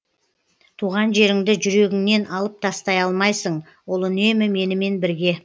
туған жеріңді жүрегіңнен алып тастай алмайсың ол үнемі менімен бірге